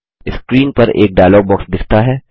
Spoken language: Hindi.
स्क्रिन पर एक डायलॉग बॉक्स दिखता है